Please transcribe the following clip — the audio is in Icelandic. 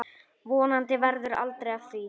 Vonandi verður aldrei af því.